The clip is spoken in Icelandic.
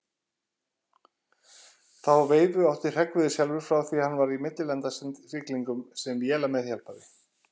Þá veifu átti Hreggviður sjálfur frá því hann var í millilandasiglingum sem vélameðhjálpari.